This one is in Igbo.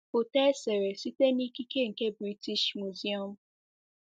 Foto e sere site n'ikike nke British Museum.